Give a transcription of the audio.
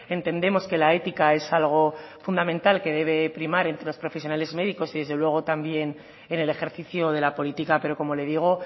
entendemos que la ética es algo fundamental que debe de primar entre los profesionales médicos y desde luego también en el ejercicio de la política pero como le digo